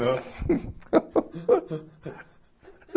Não?